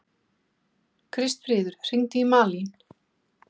Kristfríður, hringdu í Malin.